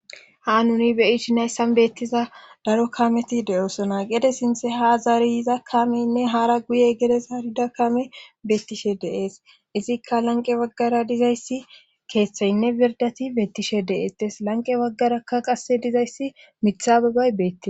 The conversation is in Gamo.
Ha nuni beyish nayssan beettiza daro kameti deosona gede sinthe ha zariyza kameynne hara guye gedes ha ridakame beettishe deees izikka lanqe waggara dizayssi keeththaynne birdati beettishe deees tes lanqe waggarakka qasse dizayssi mitha babbay beeti.